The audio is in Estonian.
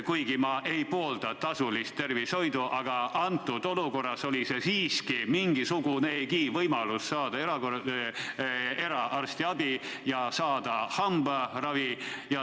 Kuigi ma ei poolda tasulist tervishoidu, oli see praeguses olukorras siiski mingisugunegi võimalus saada arstiabi ja hambaravi.